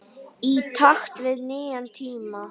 Í takt við nýja tíma.